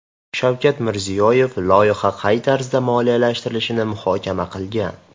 Shavkat Mirziyoyev loyiha qay tarzda moliyalashtirilishini muhokama qilgan.